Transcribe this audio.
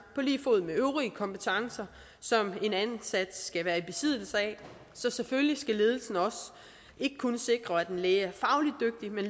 på lige fod med øvrige kompetencer som en ansat skal være i besiddelse af så selvfølgelig skal ledelsen ikke kun sikre at en læge